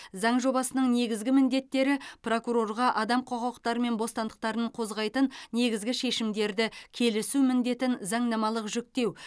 заң жобасының негізгі міндеттері прокурорға адам құқықтары мен бостандықтарын қозғайтын негізгі шешімдерді келісу міндетін заңнамалық жүктеу